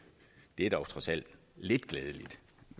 det er dog trods alt lidt glædeligt